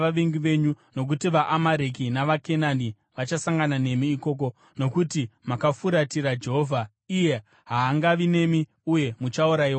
nokuti vaAmareki navaKenani vachasangana nemi ikoko. Nokuti makafuratira Jehovha, iye haangavi nemi uye muchaurayiwa nomunondo.”